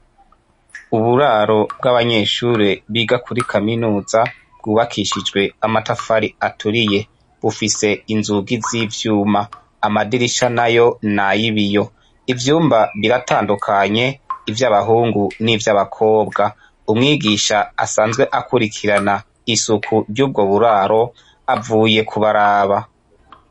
Uburaro bw'abanyeshure biga kuri kaminuza bwubakishijwe amatafari aturiye, bufise inzugi z'ivyuma, amadirisha nayo n'ayibiyo, ivyumba biratandukanye ivy'abahungu n'ivyabakobwa, umwigisha asanzwe akurikirana isuku ry'ubwo buraro avuye kubaraba.